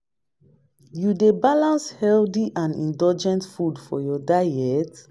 You dey balance healthy and indulgent foods for your diet?